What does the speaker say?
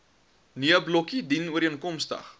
nee blokkie dienooreenkomstig